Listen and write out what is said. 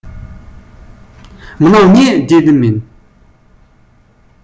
мынау не дедім мен